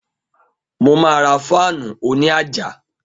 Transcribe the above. Mo ma ra fáànù òní àjà